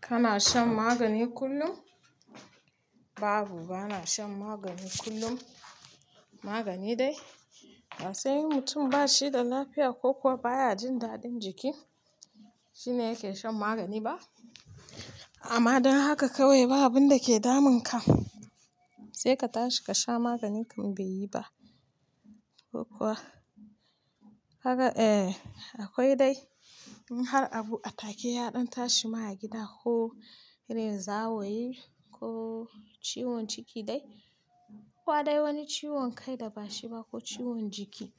Kana shan magani kullum? Babu, bana shan magani kullum. Magani dai? Ba sai mutum ba shi da lafiya ko kuwa baya jin dadin jiki shi ne yake shan magani ba. Amma dan haka kawai babu abin da yake damun ka sai ka tashi ka sha magani. Ka ga da akwai dai in har abu a take ya ɗan tashi ma a gida ko irin zawayi ko ciwon ciki dai ko dai wani ciwon kai da ba shi ba ko ciwon jiki,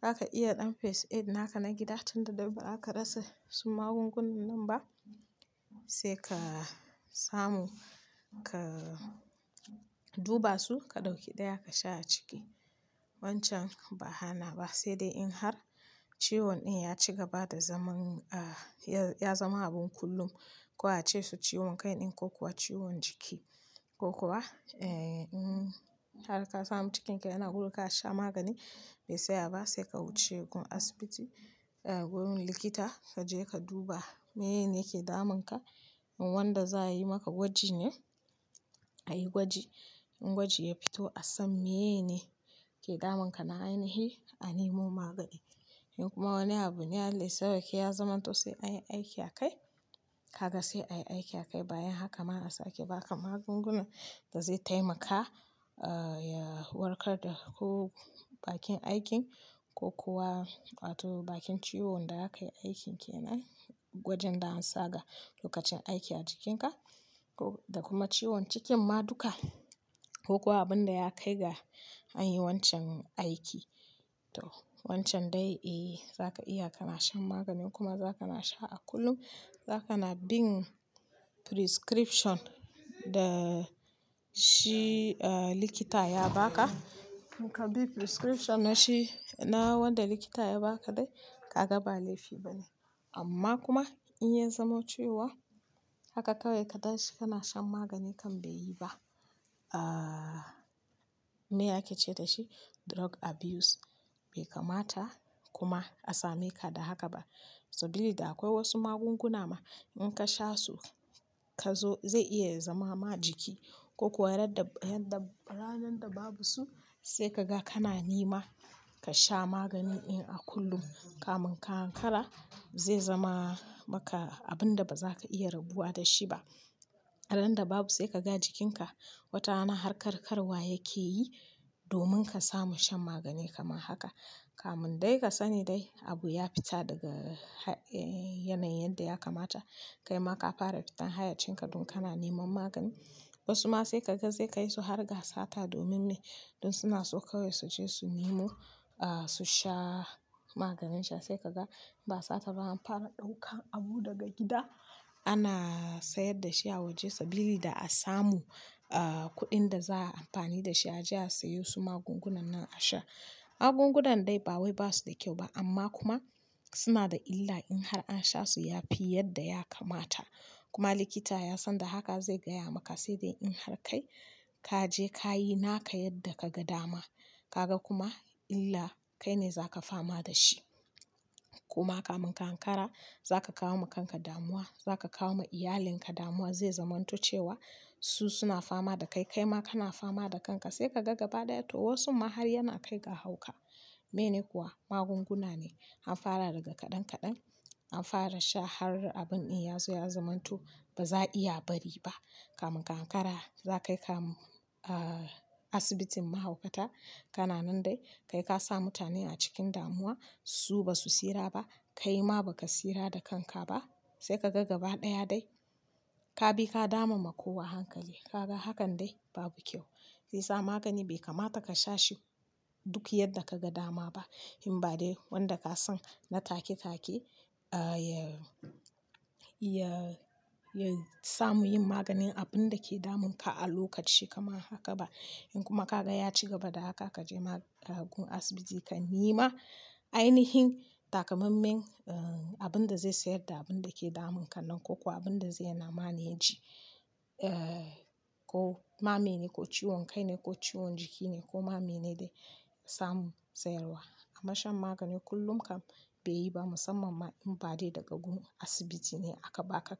zaka iya ɗan first aid naka na gida tun da daddare ba a ka rasa su magungunan nan ba sai ka samu ka duba su ka ɗauki ɗaya ka sha a ciki. Wancan ba'a hana ba, sai dai in har ciwon ɗin ya ci gaba da zaman, ah, ya zama abun kullum ko a ce su ciwon kai din ko kuwa ciwon jiki ko kuwa, eh, in har ka samu cikinka yana gurguwa ka sha magani bai tsaya ba sai ka wuce gun asibiti, ah, wurin likita ka je ka duba mene ne yake damun ka. In wanda za'a yi maka gwaji ne, a yi gwaji. In gwaji ya fito a san me ye ne ke damun ka na ainihi a nemo magani. In kuma wani abu ne Allah ya sa sai ya zamanto sai an aiki a kai. Ka ga sai a yi aiki a kai. Bayan haka ma a sake ba ka magunguna da zai taimaka, ah, ya warkar da ko bakin aikin ko kuwa bakin ciwon da aka yi aiki kenan wajen da aka tsaga lokacin da akai aiki a jikin ka da kuma ciwon cikin ma duka ko kuwa abin da ya kai ga an yi wancan aiki. To, wancan dai, eh, za ka iya kana shan maganin kuma zaka na sha a kullum, zaka na bin prescription da shi, ah, likita ya ba ka. In ka bi prescription na shi, na wanda likita ya ba ka dai, ka ga ba laifi bane. Amma in ya zamo cewa haka kawai kana shan magani kam bai yi ba, drug abuse kenan. Bai kamata kuma a same ka da haka ba. Saboda da akwai wasu magunguna ma in ka sha su, ka zo-- zai iya zama ma jiki. Ko kuwa ranar da babu su sai ka ga kana nema ka sha maganin ɗin a kullum. Kamun ka ankara zai zama maka abin da ba za ka iya rabuwa da shi ba. A ranar da babu sai ka ga jikinka wata rana har karkarwa yake yi domin ka samu shan magani kamar haka. Kamun dai ka sani dai abu ya fita daga yanayin da ya kamata. Kai ma ka fara fita hayyacin ka don kana neman magani. Wasu ma sai ka ga zai kai su har ga sata domin ne don suna so kawai su je su nemo, ah, su sha maganin can. Sai ka ga idan ba sa'a ba an fara daukar abu daga gida ana siyar da shi a waje saboda a samu kudin da za'a yi amfani dashi a je a siye su magungunan a sha. Magungunan dai ba wai basu da kyau ba amma kuma suna da illa in har an sha su yafi yadda ya kamata. Kuma likita ya san da haka zai gaya maka sai dai in har kai ka je ka yi naka yadda ka ga dama. Ka ga kuma illa kai ne za ka fama da shi. Kuma kafin ka ankara zaka kawo wa kan ka damuwa zaka kawo wa iyalin ka damuwa. Zai zamanto cewa su suna fama da kai kaima kana fama da kan ka sai ka ga gaba ɗaya toh wasun ma har yana kai ga hauka. Mene kuwa magunguna ne an fara daga kaɗan kaɗan an fara sha har abun ɗin ya zo ya zamanto ba za a iya bari ba. Kafin ka ankara za'a yi kai ka asibitin mahaukata. Kana nan dai kai ka sa mutane a cikin damuwa. Su ba su tsira ba, kai ma ba ka tsira da kanka ba. Sai ka ga gaba ɗaya dai ka bi ka dama ma kowa hankali. Ka ga hakan dai babu kyau. Shi ya sa magani bai kamata ka sha shi duk yadda ka ga dama ba. In ba dai wanda ka san na take ya samu yin maganin abin da ke damun ka a lokaci kamar haka ba. In kuma ka ga ya ci gaba da haka, ka je gun asibiti ka nemo ainihin takamaiman, ah, abin da zai sayar da abin da ke damun ka nan ko kuwa abin da zai hana maneji. Eh, ko ma mene ko ciwon kai ne ko ciwon jiki ne ko ma mene dai samu tsayar wa amma shan magani kullum kam bai yi ba musamman ma in ba dai daga gun asibiti ne aka ba ka.